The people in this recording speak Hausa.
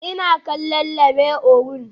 Ina kallon Labe Orun